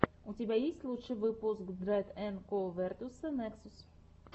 у тебя есть лучший выпуск дрэд энд ко версута нексус